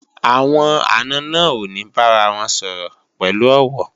Àwọn àna náà ò ní bára wọn sọ̀rọ̀ pẹ̀lú ọ̀wọ̀